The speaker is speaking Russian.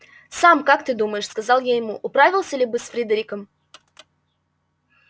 сам как ты думаешь сказал я ему управился ли бы с фридериком